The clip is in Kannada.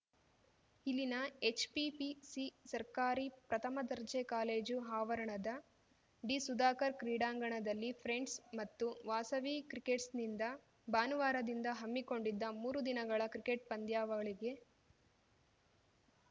ಇಲ್ಲಿನ ಎಚ್‌ಪಿಪಿಸಿ ಸರ್ಕಾರಿ ಪ್ರಥಮ ದರ್ಜೆ ಕಾಲೇಜು ಆವರಣದ ಡಿಸುಧಾಕರ್ ಕ್ರೀಡಾಂಗಣದಲ್ಲಿ ಫ್ರೆಂಡ್ಸ್‌ ಮತ್ತು ವಾಸವಿ ಕ್ರಿಕೇಟ್ಸ್ ನಿಂದ ಭಾನುವಾರದಿಂದ ಹಮ್ಮಿಕೊಂಡಿದ್ದ ಮೂರು ದಿನಗಳ ಕ್ರಿಕೆಟ್‌ ಪಂದ್ಯಾವಳಿಗೆ